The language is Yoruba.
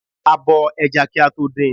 A bo ẹja kí a tó din.